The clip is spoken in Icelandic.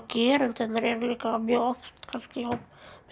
gerendurnir eru líka mjög oft kannski í hópi